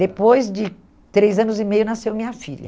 Depois de três anos e meio, nasceu minha filha.